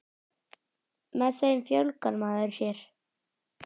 Með þeim fjölgar maður sér.